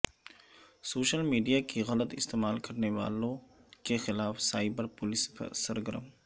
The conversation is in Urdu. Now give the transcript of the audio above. سوشل میڈیا کے غلط استعمال کرنے والوں کیخلاف سائبر پولیس سرگرم